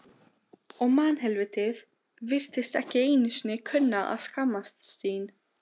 Og mannhelvítið virtist ekki einu sinni kunna að skammast sín.